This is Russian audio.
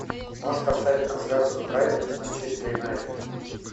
можешь поставить трансляцию брайтона с манчестер юнайтед